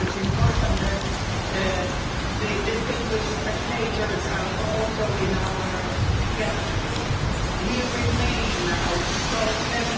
It is important that the distinguished spectators are also in our gallery. We remain outspoken.